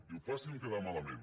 diu faci’m quedar malament